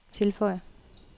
tilføj